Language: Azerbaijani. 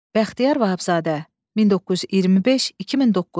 Bəxtiyar Vahabzadə 1925-2009.